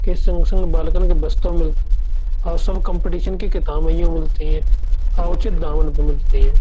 के संग संग बालकन के बस्तौ मिलतौ। आसन कम्पटीशन की किताबें यो मिलती ए आ उचित दामन पे पर मिलती ए ।